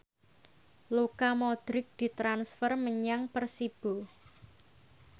Luka Modric ditransfer menyang Persibo